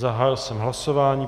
Zahájil jsem hlasování.